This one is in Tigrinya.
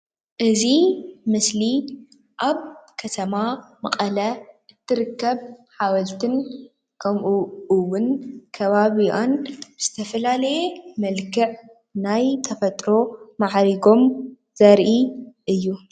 እዚ ምስሊ ኣብ ከተማ መቐለ እትርከብ ሓወልቲ ከምእዉን ከባቢኣን ዝተፈላለዩ መልክዕ ናይ ተፈጥሮ ማዕሪጎም ዘርኢ እዩ።